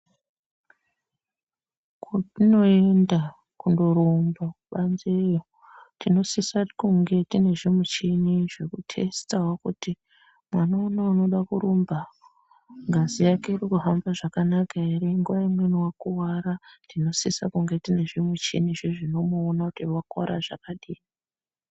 Kwotinoenda kundorumba kubanzeyo tinosisa kunge tiine zvimuchini zvekutesitawo kuti mwana uno unoda kurumba, ngazi yake irikuhamba zvakanaka here. Nguva imweni wakuvara, tinosisa kunge tiine zvimichinizve zvinomuona kuti wakuvara zvakadini.